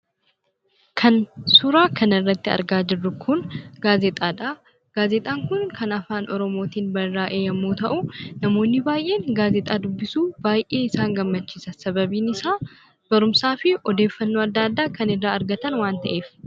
Kan suuraa kanarratti argaa jirru kun gaazexaadhaa. Gaazexaan kun kan Afaan Oromootiin barraa'e yommuu ta'uu namoonni baay'een gaazexaa dubbisuu baay'ee isaan gammachiisa. Sababiin isaa barumsaa fi odeeffannoo adda addaa kan irraa argatan waan ta'eef.